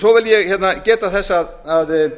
svo vil ég geta þess að